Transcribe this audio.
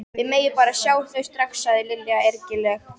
Þið megið bara sjá þau strax sagði Lilla ergileg.